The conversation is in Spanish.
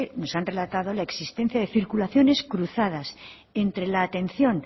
nos han relatado la existencia de circulaciones cruzadas entra la atención